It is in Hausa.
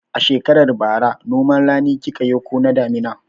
A shekarar bara noman rani kika yi ko na damina?